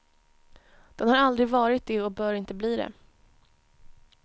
Den har aldrig varit det och bör inte bli det.